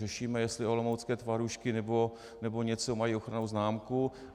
Řešíme, jestli olomoucké tvarůžky nebo něco mají ochrannou známku.